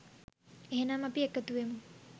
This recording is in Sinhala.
එහෙනම් අපි එකතු වෙමු